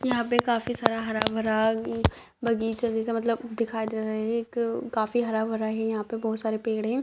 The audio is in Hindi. यहाँ पे काफी सारा हरा-भरा अ बगीचा जैसा मतलब दिखाई दे रहा है एक काफी हरा-भरा है यहाँ पे बहोत सारे पेड़ है।